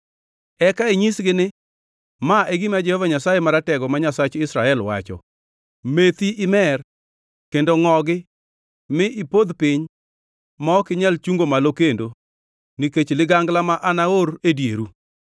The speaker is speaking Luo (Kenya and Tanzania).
“Eka inyisgi ni, ‘Ma e gima Jehova Nyasaye Maratego, ma Nyasach Israel, wacho: Methi, mer kendo ngʼogi, mi ipodh piny ma ok inyal chungo malo kendo nikech ligangla ma anaor e dieru.’